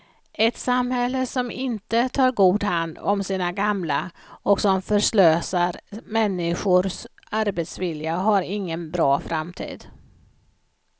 Ett samhälle som inte tar god hand om sina gamla och som förslösar människors arbetsvilja har ingen bra framtid.